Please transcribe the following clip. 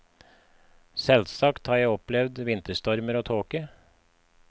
Selvsagt har jeg opplevd vinterstomer og tåke.